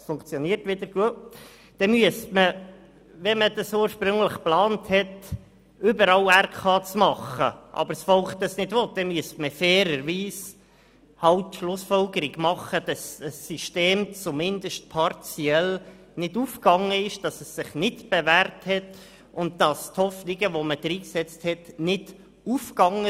Deswegen müsste man, wenn ursprünglich geplant war, überall Regionalkonferenzen zu bilden und das Volk dies aber nicht will, fairerweise die Schlussfolgerung ziehen, dass das System zumindest partiell nicht aufgegangen ist, dass es sich nicht bewährt hat und dass die Hoffnungen, die man hineingesetzt hat, sich nicht erfüllt haben.